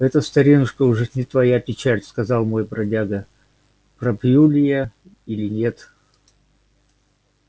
это старинушка уж не твоя печаль сказал мой бродяга пропью ли я или нет